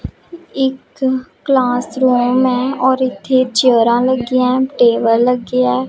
ਇੱਕ ਕਲਾਸਰੂਮ ਹੈ ਔਰ ਇੱਥੇ ਚੇਅਰਾਂ ਲੱਗੀਆਂ ਟੇਬਲ ਲੱਗਿਆ ਹੈ।